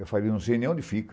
Eu falei, não sei nem onde fica.